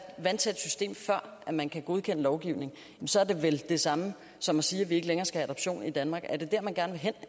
vandtæt system før man kan godkende lovgivningen så er det vel det samme som at sige at vi ikke længere skal have adoption i danmark er det dér man gerne vil hen